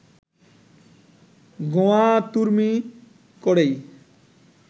গোঁয়ার্তুমি করেই